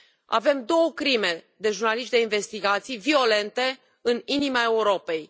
Avem două crime de jurnaliști de investigații, violente, în inima Europei.